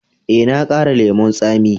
Eh, na ƙara lemun tsami.